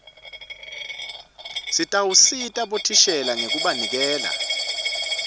sitawusita bothishela ngekubanikela